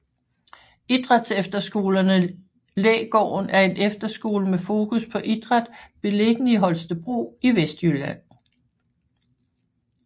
Idrætsefterskolen Lægården er en efterskole med fokus på idræt beliggende i Holstebro i Vestjylland